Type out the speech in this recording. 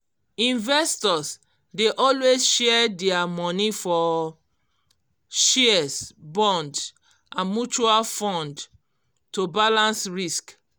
investors dey always share dia money for shares bonds and mutual fund to balance risk